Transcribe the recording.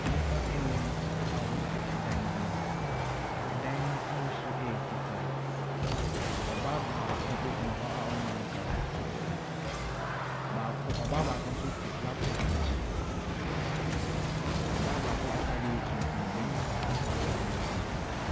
Nnipa nnum a wɔte dan bi mu. Dan no ahosuo yɛ fitaa. Ɔbaa baako gyina hɔ a ɔne wɔn rekasa. Baako ɔbaa baako nso te laptop akyi. Ɔbaa baako atade yɛ tuntum. Barima baako nso atare yɛ tuntum.